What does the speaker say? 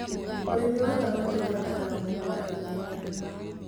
ũrĩmi wa thamaki ũbataraga mũgunda mũnene.